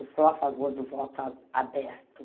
Eu sou a favor do voto a aberto.